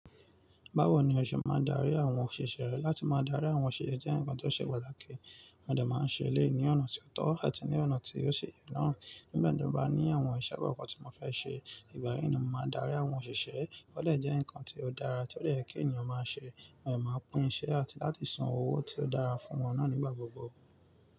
Báwo ni o ṣe máa darí àwọn òṣìṣẹ́ ẹ? Látí máa darí àwọn òṣìṣẹ́ jẹ́ ǹkan tó ṣe pàtàkì. Mo dè máa ń ṣe éléyì ní ọ̀nà tí ó tọ́ àti ní ọ̀nà tí ó ṣi yẹ náà. Nígbà tí mo bá ní àwọn ìṣe kọkan tí mo fẹ́ ṣe, ìgbà yíì ni mo máa darí àwọn òṣìṣẹ́. Ó dè jẹ́ ǹkan tí ó dára tí ó lè kí ènìyàn máa ṣe, wọ́n lè máa pín iṣẹ́ àti láti san owó tí ó dára fún wọn náà nígbà gbogbo.